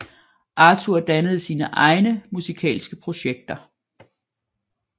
Arthur dannede sine egne musikalske projekter